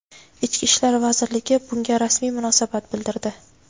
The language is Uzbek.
Ichki ishlar vazirligi bunga rasmiy munosabat bildirdi.